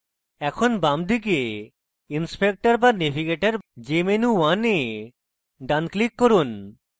এখন বামদিকে inspector বা navigator jmenu1 এ ডান click করুন